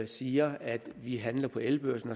siger at vi handler på elbørsen